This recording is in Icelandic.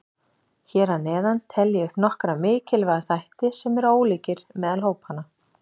Hér að neðan tel ég upp nokkra mikilvæga þætti sem eru ólíkir meðal hópanna.